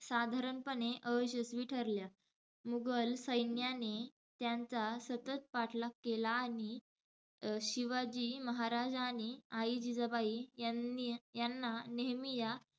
साधारणपणे अयशस्वी ठरल्या. मुघल सैन्याने त्यांचा सतत पाठलाग केला. आणि शिवाजी महाराज आणि आई जिजाबाई यांनी~ यांना नेहमी या,